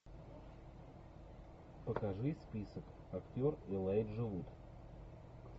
покажи список актер элайджа вуд